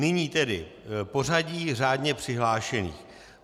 Nyní tedy pořadí řádně přihlášených.